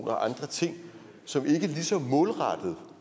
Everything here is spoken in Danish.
og andre ting som ikke lige så målrettet